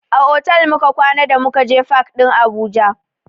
A otal muka kwana da muka je fak ɗin Abuja.